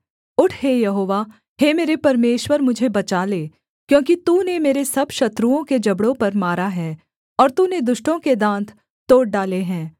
उठ हे यहोवा हे मेरे परमेश्वर मुझे बचा ले क्योंकि तूने मेरे सब शत्रुओं के जबड़ों पर मारा है और तूने दुष्टों के दाँत तोड़ डाले हैं